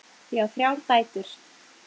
Ég á þrjár dætur.